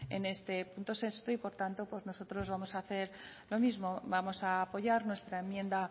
en este punto sexto y por tanto pues nosotros vamos hacer lo mismo vamos a apoyar nuestra enmienda